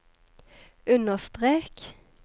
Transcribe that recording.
understrek